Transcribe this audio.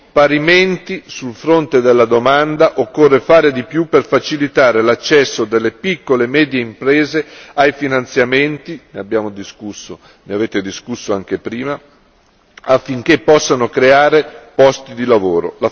Parimenti, sul fronte della domanda, occorre fare di più per facilitare l'accesso delle piccole e medie imprese ai finanziamenti ne abbiamo discusso prima, ne avete discusso anche prima affinché possano creare posti di lavoro.